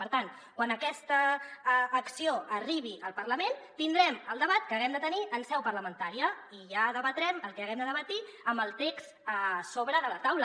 per tant quan aquesta acció arribi al parlament tindrem el debat que haguem de tenir en seu parlamentària i ja debatrem el que haguem de debatre amb el text a sobre de la taula